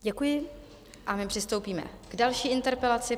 Děkuji a my přistoupíme k další interpelaci.